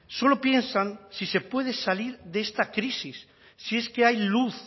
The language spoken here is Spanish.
solo piensan si se puede salir de esta crisis si es que hay luz